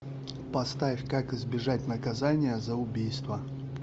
поставь как избежать наказания за убийство